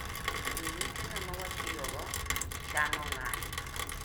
Jowetena ma watiyogo chano ng'anyo.